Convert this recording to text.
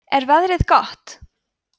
er veðrið gott